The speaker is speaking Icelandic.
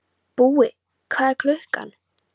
Búi, hvað er klukkan?